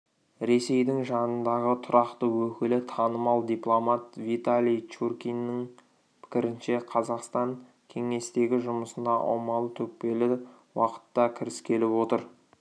ресейдің жанындағы тұрақты өкілі танымал дипломат виталий чуркиннің пікірінше қазақстан кеңестегі жұмысына аумалы-төкпелі уақытта кіріскелі отыр